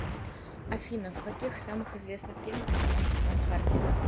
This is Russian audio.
афина в каких самых известных фильмах снимался том харди